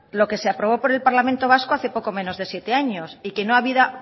lo que se aprobó por el parlamento vasco hace poco menos de siete años